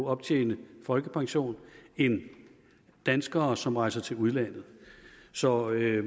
optjene folkepension end danskere som rejser til udlandet så jeg